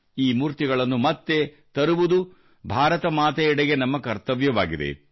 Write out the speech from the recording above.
ಈ ಮೂರ್ತಿಗಳನ್ನು ಮತ್ತೆ ತರುವುದು ಭಾರತ ಮಾತೆಯೆಡೆಗೆ ನಮ್ಮ ಕರ್ತವ್ಯವಾಗಿದೆ